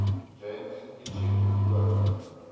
james kitching hoof